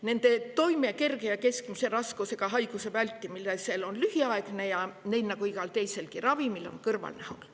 Nende toime kerge ja keskmise raskusega haiguse vältimisel on lühiaegne ja neil nagu igal teiselgi ravimil on kõrvalnähud.